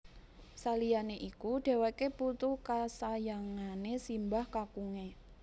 Saliyane iku dheweke putu kasayangane simbah kakunge